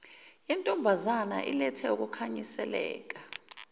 yentombazane ilethe ukukhanyiseleka